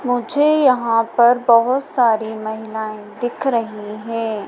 मुझे यहां पर बहोत सारी महिलाएं दिख रही है।